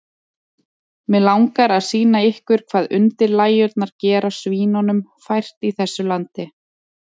Mig langar að sýna ykkur hvað undirlægjurnar gera svínunum fært í þessu landi.